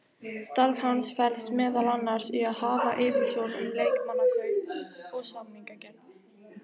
Starf hans felst meðal annars í að hafa yfirsjón um leikmannakaup og samningagerð.